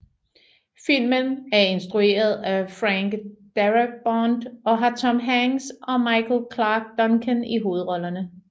Filmen er instrueret af Frank Darabont og har Tom Hanks og Michael Clarke Duncan i hovedrollerne